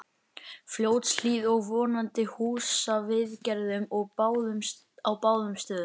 Fljótshlíð og vonandi húsaviðgerðum á báðum stöðum.